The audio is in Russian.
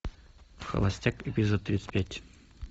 холостяк эпизод тридцать пять